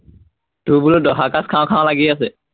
তোৰ বোলো দহা-কাজ খাও খাও লাগি আছে।